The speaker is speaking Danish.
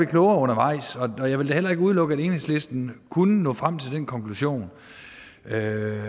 klogere undervejs og jeg vil da heller ikke udelukke at enhedslisten kunne nå frem til den konklusion at